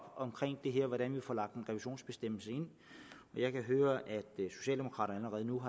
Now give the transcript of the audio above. hvordan vi får lagt en revisionsbestemmelse ind jeg kan høre at socialdemokraterne allerede nu